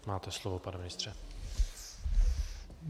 Máte slovo, pane ministře.